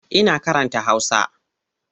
Ina karanta Hausa.